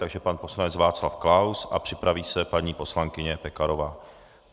Takže pan poslanec Václav Klaus a připraví se paní poslankyně Pekarová.